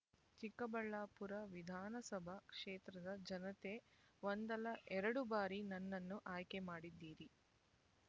ಚಿಕ್ಕಬಳ್ಳಾಪುರ ವಿಧಾನಸಭಾ ಕ್ಷೇತ್ರದ ಜನತೆ ಒಂದಲ್ಲ ಎರಡು ಬಾರಿ ನನ್ನನ್ನು ಆಯ್ಕೆ ಮಾಡಿದ್ದೀರಿ